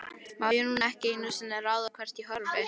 Má ég nú ekki einu sinni ráða hvert ég horfi?